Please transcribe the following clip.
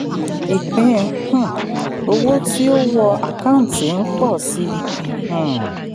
ìpín um owó tí ò wọ àkáǹtì ń pọ̀ sí i. um